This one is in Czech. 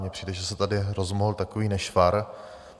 Mně přijde, že se tady rozmohl takový nešvar.